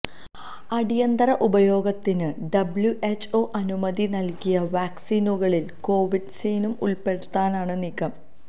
അടിയന്തര ഉപയോഗത്തിന് ഡബ്ല്യുഎച്ച്ഒ അനുമതി നൽകിയ വാക്സീനുകളിൽ കോവാക്സീനും ഉൾപ്പെടുത്താനാണ് നീക്കം